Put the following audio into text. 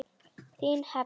Þín Heba.